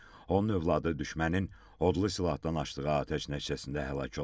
onun övladı düşmənin odlu silahdan açdığı atəş nəticəsində həlak olub.